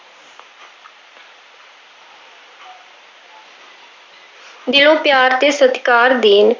ਦਿਲੋਂ ਪਿਆਰ ਤੇ ਸਤਿਕਾਰ ਦੇਣ।